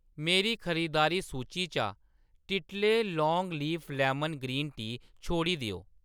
मेरी खरीदारी सूची चा टिटले long leaf lemon green tea छोड़ी देओ